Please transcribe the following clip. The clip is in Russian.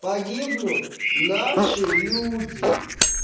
погибнут наши люди